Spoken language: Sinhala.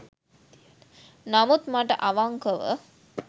නමුත් මට අවංකව